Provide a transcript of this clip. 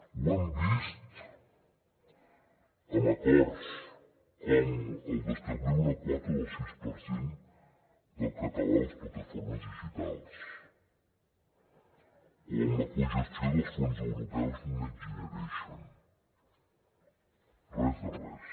ho hem vist en acords com el d’establir una quota del sis per cent del català a les plataformes digitals o amb la cogestió dels fons europeus next generation res de res